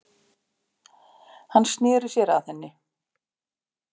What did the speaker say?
Hann sneri sér að henni.